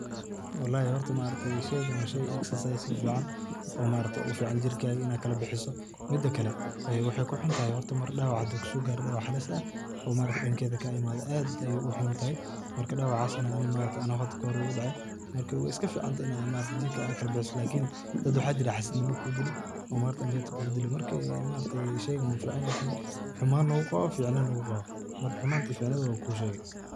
Wallahi horta sheygan waa shey exercise oo fican oo fican inaa jirkaga kala bixiso ,mida kale waxey ku huntahay mar dawac hadu kuso garo dawac halis ah oo maaragte dankeda kaga imado aad ayey u huntahay , marka dawacasna ani u hada kahore igu dacay marka wey iska fican tahay inaad jirkada aa kalabixiso lakini dad maxa jira xasidnimo kudili oo ambirta kugudili ee sheygan wuu fican yahay ,humanan u qawa ,ficnina u qawa, marka humanta iyo ficnidha laba duba wan kushege.